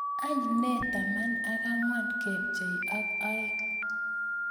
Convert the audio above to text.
Any nee taman ak angwan kebchei ak oeing